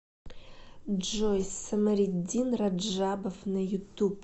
джой самариддин раджабов на ютуб